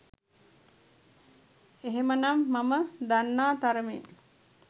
එහෙමනම් මම දන්නා තරමින්